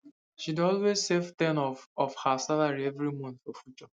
she dey always save ten of of her salary every month for future